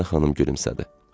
Mədinə xanım gülümsədi.